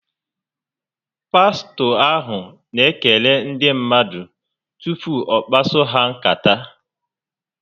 Pastọ ahụ n'ekele ndị mmadụ tupu ọ kpaso ha nkata